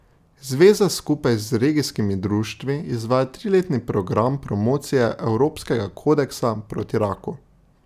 Zveza skupaj z regijskimi društvi izvaja triletni program promocije Evropskega kodeksa proti raku.